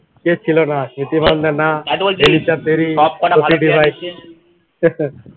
কেউ ছিল না এলিসা প্যারিস